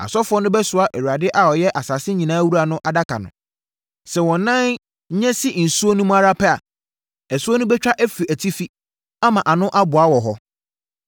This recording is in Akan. Asɔfoɔ no bɛsoa Awurade a ɔyɛ asase nyinaa wura no Adaka no. Sɛ wɔn nan nya si nsuo no mu ara pɛ, asuo no bɛtwa afiri atifi ama ano aboa wɔ hɔ.”